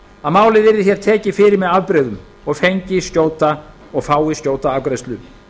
að málið yrði hér tekið fyrir með afbrigðum og fái skjóta afgreiðslu